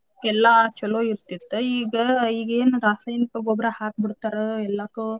ಎಲ್ಲಾ ಚೊಲೋ ಇರ್ತಿತ್ ಈಗ ಈಗೇನ್ ರಾಸಾಯನಿಕ ಗೊಬ್ಬರಾ ಹಾಕಿ ಬಿಡ್ತಾರ ಎಲ್ಲಾಕು.